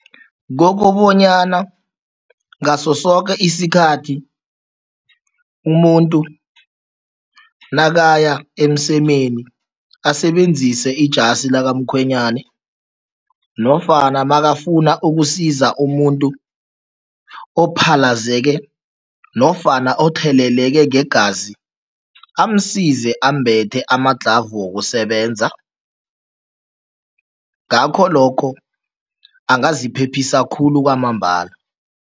Kokobanyana ngaso soke isikhathi umuntu nakaya emsemeni asebenzise ijasi likamkhwenyana nofana makafuna ukusiza umuntu ophalazeke nofana otheleleke ngegazi, amsize ambethe ama-glove wokusebenza, ngakho lokho angaziphephisa khulu kwamambala.